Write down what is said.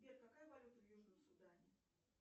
сбер какая валюта в южном судане